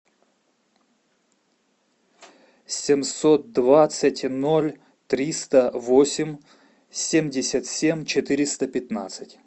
семьсот двадцать ноль триста восемь семьдесят семь четыреста пятнадцать